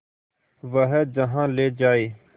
वह जहाँ ले जाए